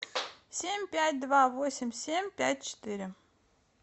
семь пять два восемь семь пять четыре